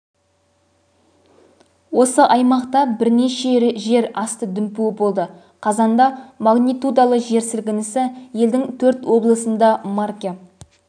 осы аймақта бірнеше жер асты дүмпуі болды қазанда магнитудалы жер сілкінісі елдің төрт обысында марке